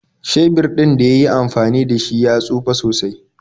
Shebir ɗin da yi yi amfani da shi ya tsufe sosai.